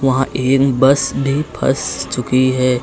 वहां बस भी फस चुकी है।